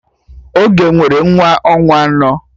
Ọgọ nwere nwa ọnwa anọ